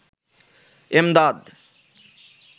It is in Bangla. এমদাদ